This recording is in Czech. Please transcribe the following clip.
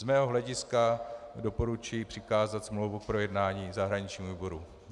Z mého hlediska doporučuji přikázat smlouvu k projednání zahraničnímu výboru.